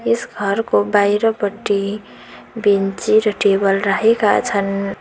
यस घरको बाहिरपट्टि बेन्ची र टेबल रहेका छन्।